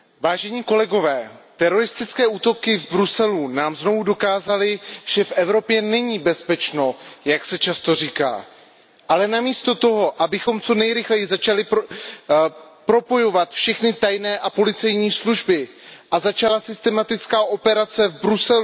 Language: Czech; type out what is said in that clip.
Teroristické útoky v Bruselu nám znovu dokázaly, že v Evropě není bezpečno, jak se často říká, ale namísto toho, abychom co nejrychleji začali propojovat všechny tajné a policejní služby a začala systematická operace v Bruselu, kde spolu